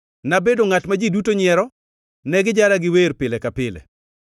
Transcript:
Nabedo ngʼat ma ji duto nyiero, ne gijara gi wer pile ka pile.